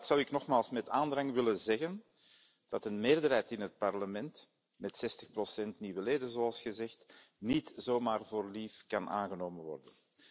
Aan de Raad zou ik nogmaals met aandrang willen zeggen dat een meerderheid in het Parlement met 60 nieuwe leden, zoals gezegd niet zomaar voor lief kan genomen worden.